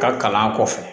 Ka kalan kɔfɛ